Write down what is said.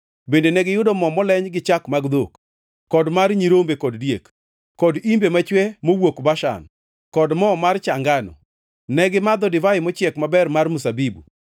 Bende negiyudo mo moleny gi chak mag dhok kod mar nyirombe kod diek, kod imbe machwe mowuok Bashan kod mo mar cha ngano. Ne gimadho divai mochiek maber mar mzabibu.